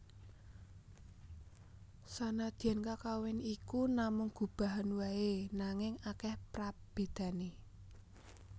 Sanadyan kakawin iki namung gubahan waé nanging akèh prabédané